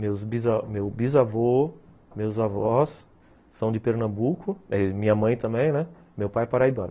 Meus bisa, meu bisavô, meus avós são de Pernambuco, minha mãe também, né, meu pai é paraibano.